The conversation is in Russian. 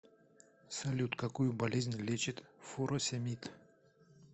салют какую болезнь лечит фуросемид